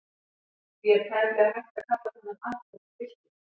Því er tæplega hægt að kalla þennan atburð byltingu.